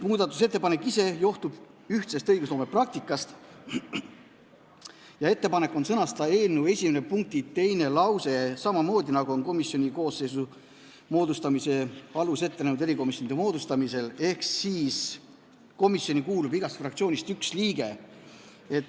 See johtub ühtsest õigusloome praktikast ja ettepanek on sõnastada eelnõu esimese punkti teine lause samamoodi, nagu on komisjoni koosseisu moodustamise alus erikomisjonide puhul, ehk komisjoni kuulub igast fraktsioonist üks liige.